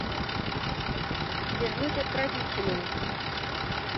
вернуть отправителю